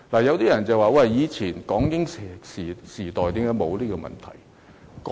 有些人會問，為何以前港英時代沒有這問題？